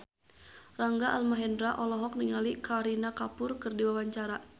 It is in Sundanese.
Rangga Almahendra olohok ningali Kareena Kapoor keur diwawancara